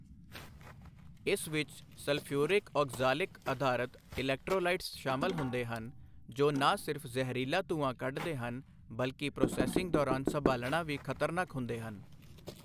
ਇਸ ਵਿਚ sulphuric oxalic ਅਧਾਰਤ ਇਲੈਕਟ੍ਰੋਲਾਈਟਸ ਸ਼ਾਮਲ ਹੁੰਦੇ ਹਨ, ਜੋ ਨਾ ਸਿਰਫ ਜ਼ਹਿਰੀਲਾ ਧੂੰਆਂ ਕੱਢਦੇ ਹਨ ਬਲਕਿ ਪ੍ਰੋਸੈਸਿੰਗ ਦੌਰਾਨ ਸੰਭਾਲਣਾ ਵੀ ਖਤਰਨਾਕ ਹੁੰਦੇ ਹਨ।